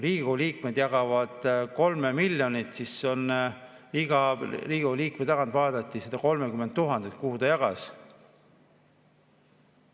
Riigikogu liikmed jagavad 3 miljonit ja iga Riigikogu liikme puhul vaadati, et kuhu ta seda 30 000 jagas.